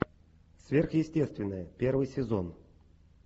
сверхъестественное первый сезон